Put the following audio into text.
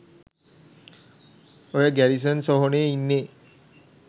ඔය ගැරිසන් සොහොනේ ඉන්නේ